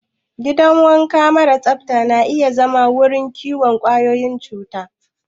Gidan wanka mara tsafta na iya zama wurin kiwon ƙwayoyin cuta.